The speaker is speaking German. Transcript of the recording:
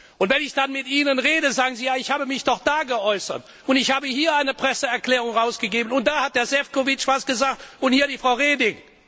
Und wenn ich dann mit Ihnen rede, sagen Sie Ja, ich habe mich doch da geäußert und ich habe hier eine Presseerklärung herausgegeben und da hat Herr Šefčovič etwas gesagt und hier die Frau Reding!